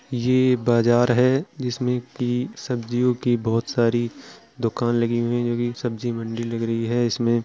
ये बाजार है जिसमे कि सब्जियों कि बहोत सारी दुकान लगी हुई है जो सब्जी मंडी लग रही है इसमे --